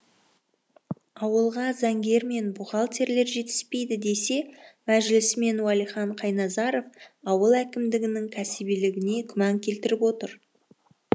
ауылға заңгер мен бухгалтерлер жетіспейді десе мәжілісмен уәлихан қайназаров ауыл әкімдерінің кәсібилігіне күмән келтіріп отыр